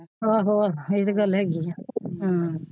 ਆਹੋ ਇਹ ਤੇ ਗੱਲ ਹੈਗੀ ਹੈ।